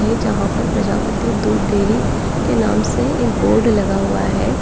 जहां पर प्रजापति दूध डेयरी के नाम से एक बोर्ड लगा हुआ है।